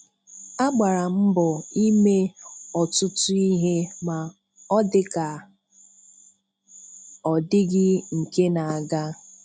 Agbara m mbọ ime ọtụtụ ihe ma ọ dịka a ọ dịghị nke n'aga.